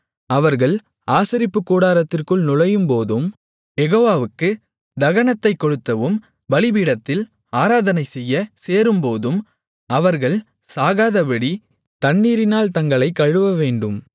அவர்கள் ஆசரிப்புக்கூடாரத்திற்குள் நுழையும்போதும் யெகோவாவுக்குத் தகனத்தைக் கொளுத்தவும் பலிபீடத்தில் ஆராதனைசெய்ய சேரும்போதும் அவர்கள் சாகாதபடி தண்ணீரினால் தங்களைக் கழுவவேண்டும்